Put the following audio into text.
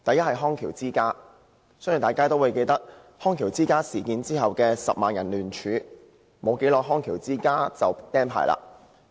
我相信大家均記得康橋之家事件發生後，有10萬人聯署，康橋之家不久後就被吊銷牌照。